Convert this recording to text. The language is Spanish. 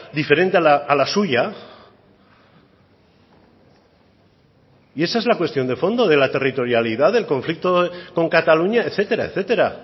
diferente a la suya y esa es la cuestión de fondo de la territorialidad del conflicto con cataluña etcétera etcétera